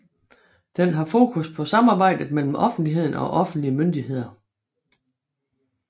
Den har fokus på samarbejdet mellem offentligheden og offentlige myndigheder